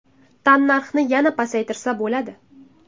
Tannarxni yana pasaytirsa bo‘ladi.